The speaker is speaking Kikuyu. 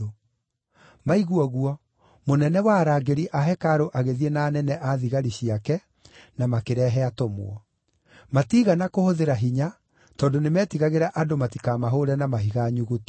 Maigua ũguo, mũnene wa arangĩri a hekarũ agĩthiĩ na anene a thigari ciake na makĩrehe atũmwo. Matiigana kũhũthĩra hinya, tondũ nĩmetigagĩra andũ matikamahũũre na mahiga nyuguto.